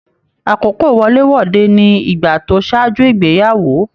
Àkókò wọlé-wọdè ní ìgbà tó ṣáájú ìgbéyàwó.